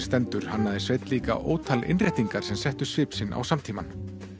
stendur hannaði Sveinn líka ótal innréttingar sem settu svip á samtímann